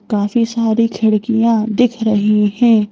काफी सारी खिड़कियां दिख रही हैं।